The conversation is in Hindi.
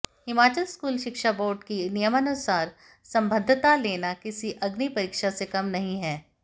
हिमाचल स्कूल शिक्षा बोर्ड की नियमानुसार संबद्धता लेना किसी अग्निपरीक्षा से कम नहीं है